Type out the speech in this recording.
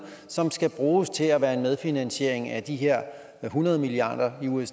som skal bruges til at være en medfinansiering af de her hundrede milliard